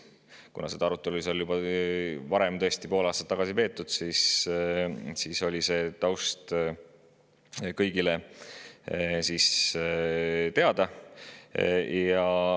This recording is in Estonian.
Kuna seda arutelu oli seal juba varem, pool aastat tagasi, tõesti peetud, siis oli taust kõigile teada.